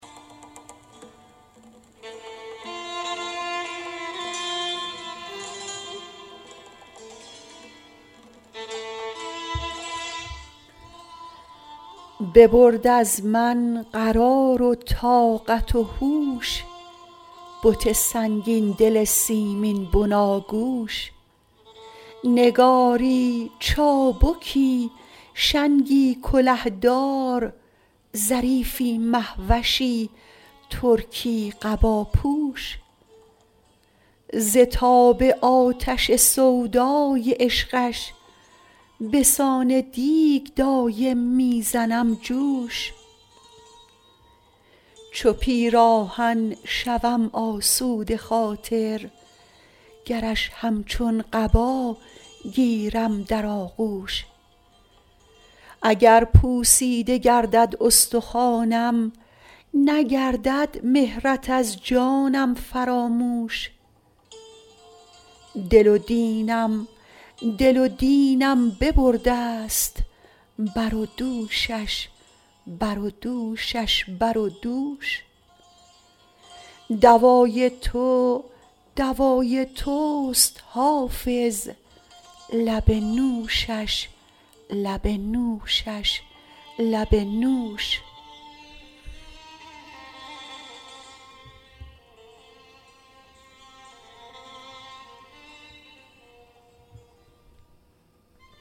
ببرد از من قرار و طاقت و هوش بت سنگین دل سیمین بناگوش نگاری چابکی شنگی کله دار ظریفی مه وشی ترکی قباپوش ز تاب آتش سودای عشقش به سان دیگ دایم می زنم جوش چو پیراهن شوم آسوده خاطر گرش همچون قبا گیرم در آغوش اگر پوسیده گردد استخوانم نگردد مهرت از جانم فراموش دل و دینم دل و دینم ببرده ست بر و دوشش بر و دوشش بر و دوش دوای تو دوای توست حافظ لب نوشش لب نوشش لب نوش